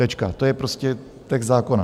Tečka, to je prostě text zákona.